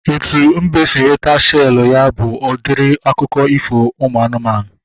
Etu mbe si nweta shelu ya bụ udiri akụkọ ifo ụmụ anụmanụ